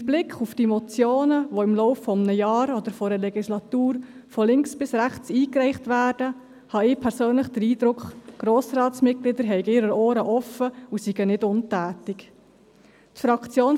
Mit Blick auf die Motionen, die im Laufe eines Jahres oder einer Legislatur von links bis rechts eingereicht werden, habe ich den Eindruck, dass die Mitglieder des Grossen Rats ihre Ohren offen haben und nicht untätig sind.